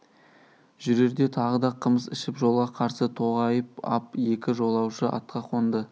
жүрерде тағы да қымыз ішіп жолға қарсы тоғайып ап екі жолаушы атқа қонды